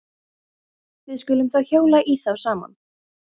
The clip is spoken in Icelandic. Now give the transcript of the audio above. Við skulum þá hjóla í þá saman.